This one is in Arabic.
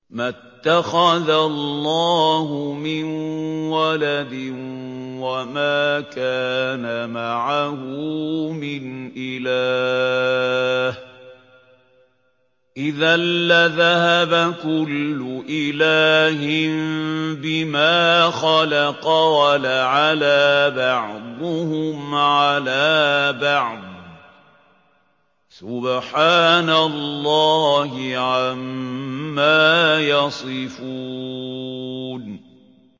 مَا اتَّخَذَ اللَّهُ مِن وَلَدٍ وَمَا كَانَ مَعَهُ مِنْ إِلَٰهٍ ۚ إِذًا لَّذَهَبَ كُلُّ إِلَٰهٍ بِمَا خَلَقَ وَلَعَلَا بَعْضُهُمْ عَلَىٰ بَعْضٍ ۚ سُبْحَانَ اللَّهِ عَمَّا يَصِفُونَ